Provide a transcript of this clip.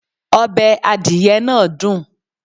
Ọbẹ̀ adìyẹ náà dùn.